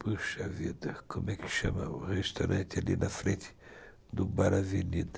Puxa vida, como é que chama o restaurante ali na frente do Bar Avenida?